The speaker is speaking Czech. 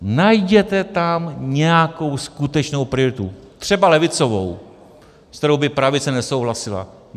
Najděte tam nějakou skutečnou prioritu, třeba levicovou, se kterou by pravice nesouhlasila.